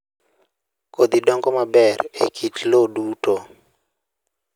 Kodhi dongo maber e kit lowo duto